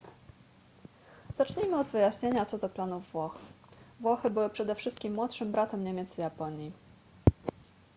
zacznijmy od wyjaśnienia co do planów włoch włochy były przede wszystkim młodszym bratem niemiec i japonii